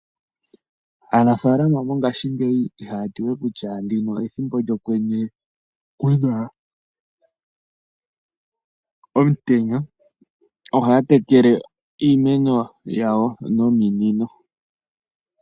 Aanafalama mongashingeyi ihaya ti we kutya ndino ethimbo lyokwenye, kuna omutenya, ohaya tekele iimeno yawo nominino.